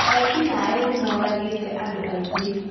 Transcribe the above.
Ekinai nĩmoragĩte andũ aingĩ